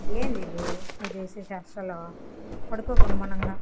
ఏందిది నువ్వు చేసే చేష్టలు పడుకో గమ్మునంగా.